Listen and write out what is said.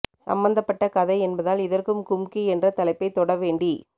சம்மந்தப் பட்ட கதை என்பதால் இதற்கும் கும்கி என்ற தலைப்பை தொடவேண்டி